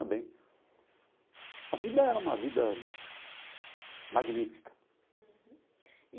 Também a vida era uma vida magnífica.